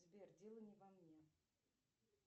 сбер дело не во мне